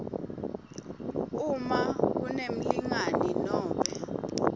uma kunemlingani nobe